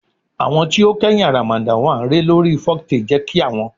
Awọn ti o kẹhin aramada l re lori foktale je ki awon